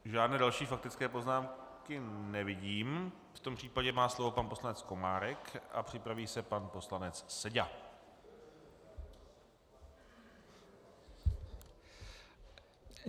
Žádné další faktické poznámky nevidím, v tomto případě má slovo pan poslanec Komárek a připraví se pan poslanec Seďa.